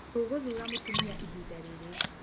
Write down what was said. Tũgũthura mũtumia ihinda rĩrĩ.